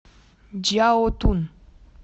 чжаотун